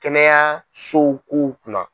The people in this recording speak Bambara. Kɛnɛyasow kow kunna.